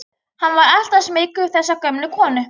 Hann var alltaf smeykur við þessa gömlu konu.